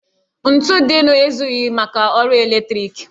Ntu dịnụ ezughị maka ọrụ eletriki